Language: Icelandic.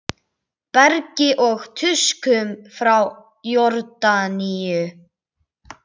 Bergi og tuskum frá Jórdaníu!